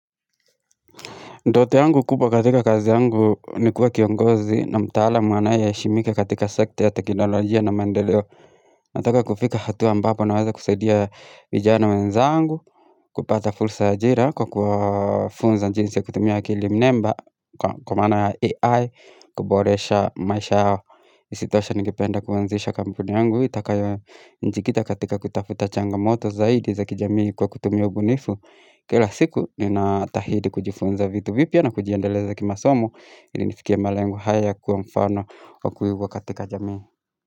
Ndoto yangu kubwa katika kazi yangu ni kuwa kiongozi na mtaalam anaye heshimika katika sekta ya teknolojia na mandeleo. Nataka kufika hatua ambapo naweza kusaidia vijana wenzangu, kupata fursa ya ajira kwa kuwa funza jinsi ya kutumia akili mnemba, kwa maana AI, kuboresha maisha yao, isitoshe nigipenda kuanzisha kampuni yangu, itakayo nijikita katika kutafuta changamoto zaidi za kijamii kwa kutumia ubunifu. Kila siku ni na tahidi kujifunza vitu vipya na kujiendeleza kima somo ili nifikie malengo haya kuwa mfano wa kuigwa katika jamii.